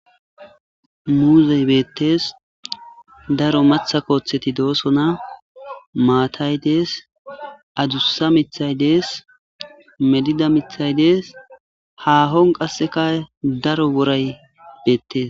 Muuzey beettees daro matha kooththeti doosona maatay dees adussa mithay dees melida mithay dees haahon qasseka daro woray beettes.